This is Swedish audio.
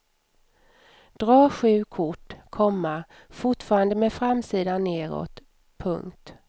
Dra sju kort, komma fortfarande med framsidan nedåt. punkt